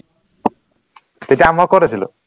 তেতিয়া মই কত আছিলো